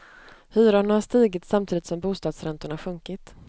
Hyrorna har stigit samtidigt som bostadsräntorna sjunkit.